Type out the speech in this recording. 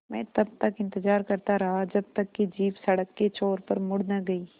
मैं तब तक इंतज़ार करता रहा जब तक कि जीप सड़क के छोर पर मुड़ न गई